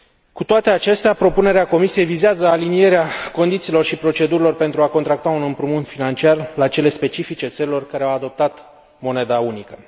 Cu toate acestea, propunerea Comisiei vizează alinierea condițiilor și procedurilor pentru a contracta un împrumut financiar la cele specifice țărilor care au adoptat moneda unică.